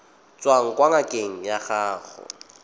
tswang kwa ngakeng ya gago